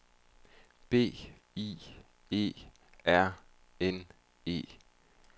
B I E R N E